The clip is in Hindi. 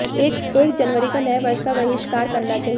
एक जनवरी को नए वर्ष का वहिष्कार करना चाहिए